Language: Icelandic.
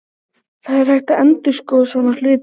Það er hægt að endurskoða svona hluti.